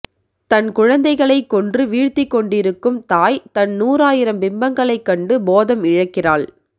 தன் குழந்தைகளைக் கொன்று வீழ்த்திக் கொண்டிருக்கும் தாய் தன் நூறாயிரம் பிம்பங்களைக் கண்டு போதம் இழக்கிறாள்